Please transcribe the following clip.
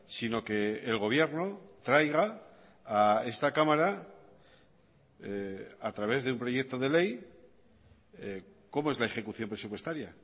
sino que el gobierno traiga a esta cámara a través de un proyecto de ley cómo es la ejecución presupuestaria